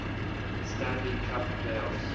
stanley cup playoffs